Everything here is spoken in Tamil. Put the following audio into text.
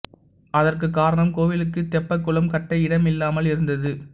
அதற்கு காரணம் கோவிலுக்கு தெப்பக் குளம் கட்ட இடம் இல்லாமல் இருந்தது